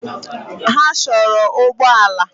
Ha chọrọ ụgbọ ala